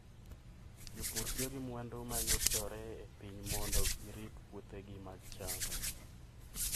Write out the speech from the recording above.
Jopur tiyo gi mwandu ma yudore e piny mondo girit puothegi mag cham.